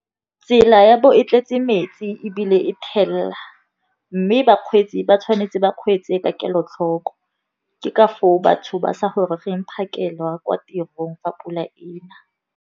Tsela ya bo e tletse metsi ebile e thelela, mme bakgweetsi ba tshwanetse ba kgweetse ka kelotlhoko, ke ka foo batho ba sa goroge phakela kwa tirong fa pula e na.